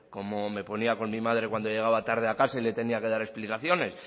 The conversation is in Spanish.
como me ponía con mi madre cuando llegaba tarde a casa y le tenía que dar explicaciones